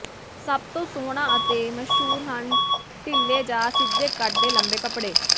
ਸਭ ਤੋਂ ਸੋਹਣਾ ਅਤੇ ਮਸ਼ਹੂਰ ਹਨ ਢਿੱਲੇ ਜਾਂ ਸਿੱਧੇ ਕੱਟ ਦੇ ਲੰਬੇ ਕੱਪੜੇ